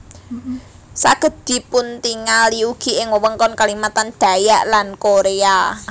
Saged dipuntingali ugi ing wewengkon Kalimantan Dayak lan Korea